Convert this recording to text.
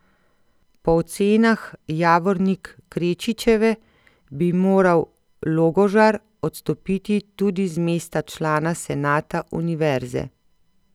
Po ocenah Javornik Krečičeve bi moral Logožar odstopiti tudi z mesta člana senata univerze.